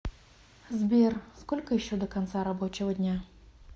сбер сколько еще до конца рабочего дня